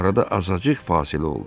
Arada azacıq fasilə oldu.